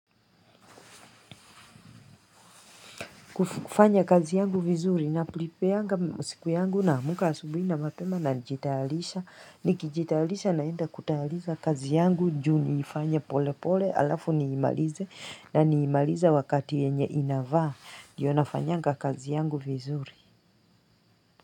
Kufanya kazi yangu vizuri, napripeanga siku yangu na naamka asubuhi na mapema na nijitalisha, nikijitalisha naenda kutahaliza kazi yangu, juni ifanya pole pole alafu niimalize na niimalize wakati yenye inavaa, ndiyo nafanyanga kazi yangu vizuri.